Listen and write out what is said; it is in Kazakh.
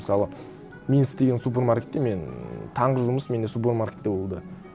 мысалы мен істеген супермаркетте мен таңғы жұмыс менде супермаркетте болды